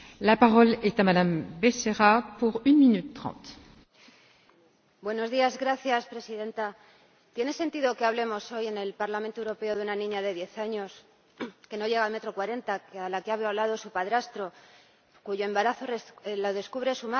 Señora Presidenta, ¿tiene sentido que hablemos hoy en el Parlamento Europeo de una niña de diez años, que no llega a 1,40 m, a la que ha violado su padrastro, cuyo embarazo lo descubre su madre después de cinco meses?